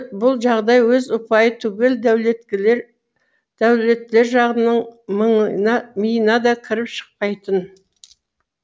бұл жағдай өз ұпайы түгел дәулеттілер жағының миына да кіріп шықпайтын